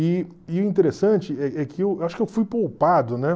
E e o interessante é é que eu acho que eu fui poupado, né?